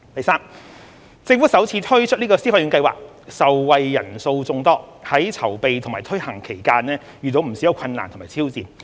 三政府首次推出消費券計劃，受惠人數眾多，在籌備和推行期間遇到不少困難和挑戰。